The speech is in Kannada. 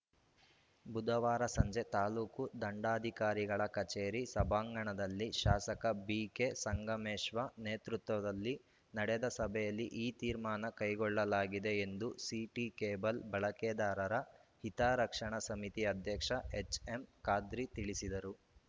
ಬುಧವಾರ ಸಂಜೆ ತಾಲೂಕು ದಂಡಾಧಿಕಾರಿಗಳ ಕಚೇರಿ ಸಭಾಂಗಣದಲ್ಲಿ ಶಾಸಕ ಬಿಕೆ ಸಂಗಮೇಶ್ವ ನೇತೃತ್ವದಲ್ಲಿ ನಡೆದ ಸಭೆಯಲ್ಲಿ ಈ ತೀರ್ಮಾನ ಕೈಗೊಳ್ಳಲಾಗಿದೆ ಎಂದು ಸಿಟಿ ಕೇಬಲ್‌ ಬಳಕೆದಾರರ ಹಿತರಕ್ಷಣಾ ಸಮಿತಿ ಅಧ್ಯಕ್ಷ ಎಚ್‌ಎಂ ಖಾದ್ರಿ ತಿಳಿಸಿದರು